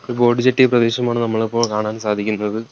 ഒരു boat jetty പ്രദേശമാണ് നമ്മളിപ്പോൾ കാണാൻ സാധിക്കുന്നത്.